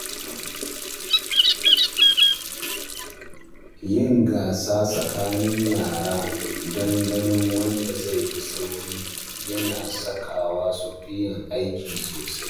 Yin gasa tsakanin yara don ganin wanda zai fi sauri yana sakawa su yi aiki sosai.